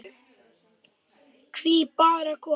Hví bara konur?